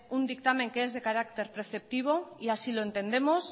un dictamen que es de carácter preceptivo y así lo entendemos